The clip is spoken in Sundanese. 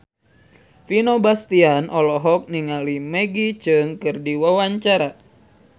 Vino Bastian olohok ningali Maggie Cheung keur diwawancara